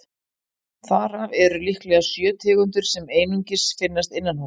Þar af eru líklega sjö tegundir sem einungis finnast innanhúss.